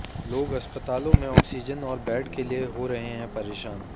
लोग अस्पतालों में ऑक्सीजन और बेड के लिए हो रहे हैं परेशान